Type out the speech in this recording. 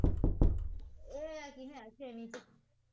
ਇਹ ਜਾਂਦਾ ਛੇਵੀ ਚ